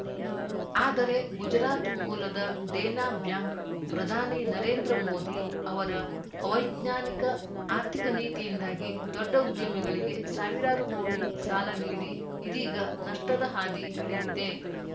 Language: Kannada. ಆದರೆ ಗುಜರಾತ್‌ ಮೂಲದ ಡೇನಾ ಬ್ಯಾಂಕ್‌ ಪ್ರಧಾನಿ ನರೇಂದ್ರ ಮೋದಿ ಅವರ ಅವೈಜ್ಞಾನಿಕ ಆರ್ಥಿಕ ನೀತಿಯಿಂದಾಗಿ ದೊಡ್ಡ ಉದ್ಯಮಿಗಳಿಗೆ ಸಾವಿರಾರು ಕೋಟಿ ಸಾಲ ನೀಡಿ ಇದೀಗ ನಷ್ಟದ ಹಾದಿ ಹಿಡಿದಿದೆ